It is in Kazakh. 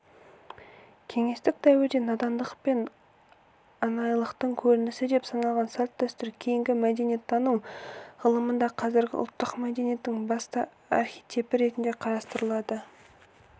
кеңестік дәуірде надандық пен анайылықтың көрінісі деп саналған салт-дәстүр кейінгі мәдениеттану ғылымында қазіргі ұлттық мәдениеттің басты архетипі ретінде қарастырылады